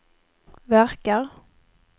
verkar